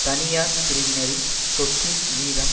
தனியார் பிரிவினரின் சொத்தின் வீதம்